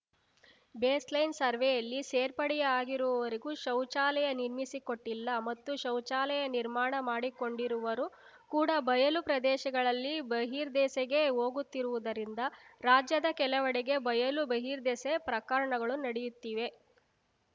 baseline ಸರ್ವೆಯಲ್ಲಿ ಸೇರ್ಪಡೆಯಾಗಿರುವವರಿಗೂ ಶೌಚಾಲಯ ನಿರ್ಮಿಸಿಕೊಟ್ಟಿಲ್ಲ ಮತ್ತು ಶೌಚಾಲಯ ನಿರ್ಮಾಣ ಮಾಡಿಕೊಂಡಿರುವರು ಕೂಡ ಬಯಲು ಪ್ರದೇಶಗಳಲ್ಲಿ ಬಹಿರ್ದೆಸೆಗೆ ಹೋಗುತ್ತಿರುವುದರಿಂದ ರಾಜ್ಯದ ಕೆಲವೆಡೆಗೆ ಬಯಲು ಬಹಿರ್ದೆಸೆ ಪ್ರಕರಣಗಳು ನಡೆಯುತ್ತಿವೆ